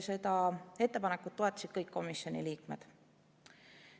Seda ettepanekut toetasid kõik komisjoni liikmed.